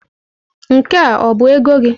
Nke a ọ bụ ego gị?